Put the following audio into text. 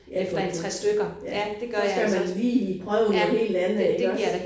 Ja for den. Ja så skal man lige prøve noget helt andet iggås